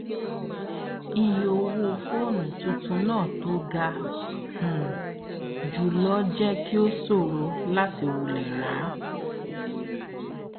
ìye owó fóònù tuntun náà tó ga um jù lọ jẹ kí ó ṣòro láti wulẹ ra á